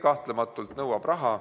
Kahtlemata see kõik nõuab raha.